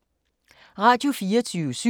Radio24syv